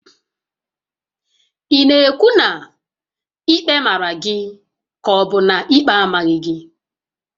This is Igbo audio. Ị na-ekwu na ikpe màrà gị kà ọbu na ikpe amaghị gị?